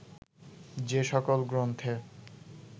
যে সকল গ্রন্থে